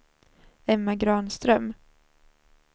Emma Granström